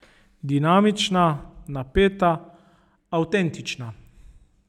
Dinamična, napeta, avtentična.